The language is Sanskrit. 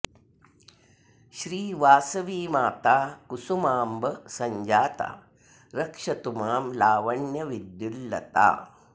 श्री वासवीमाता कुसुमाम्ब सञ्जाता रक्षतु मां लावण्य विद्युल्लता